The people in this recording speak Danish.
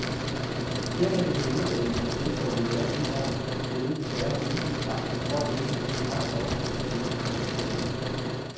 Her kan det på vinterdage, når snestorme jager ind over fjeldene, være så usigtbart, at folk ikke kan se en hånd for sig, siger konduktøren.